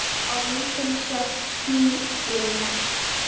Á myndinni sjást ský yfir Mars.